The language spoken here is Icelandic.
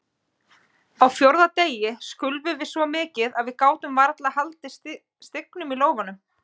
Á fjórða degi skulfum við svo mikið að við gátum varla haldið stingnum í lófanum.